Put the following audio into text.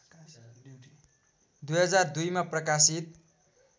२००२ मा प्रकाशित